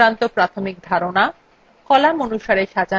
সূত্র সংক্রান্ত প্রাথমিক ধারণা